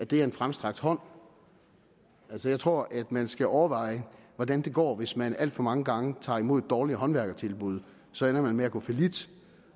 være en fremstrakt hånd altså jeg tror at man skal overveje hvordan det går hvis man alt for mange gange tager imod et dårligt håndværkertilbud så ender man med at gå fallit